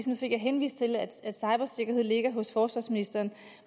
nu fik jeg henvist til at cybersikkerhed ligger hos forsvarsministeren